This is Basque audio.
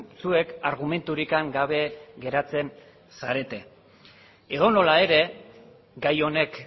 zuek argumenturik gabe geratzen zarete edonola ere gai honek